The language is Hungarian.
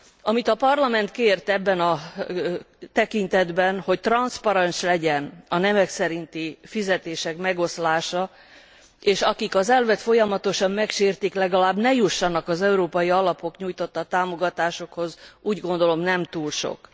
Amit a Parlament kért ebben a tekintetben, hogy transzparens legyen a nemek szerinti fizetések megoszlása, és akik az elvet folyamatosan megsértik, legalább ne jussanak az európai alapok nyújtotta támogatásokhoz, úgy gondolom, nem túl sok.